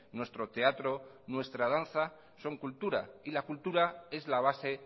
nuestro teatro nuestra danza son cultura y la cultura es la base